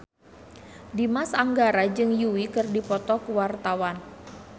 Dimas Anggara jeung Yui keur dipoto ku wartawan